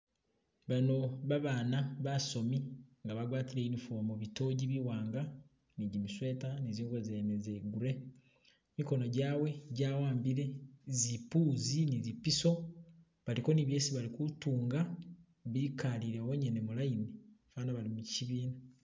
Bano babana basomi nga bagwatile uniform bitogi biwanga ni gi mi sweeter ni zingubo zene zili gray mikono gyawe gyawambile zimpuzi ni zipiso baliko ni byesi bali kutunga bikalila honyene mu line fana bali mu kyibiina.